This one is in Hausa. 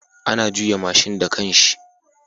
Ana juya mashin da kanshi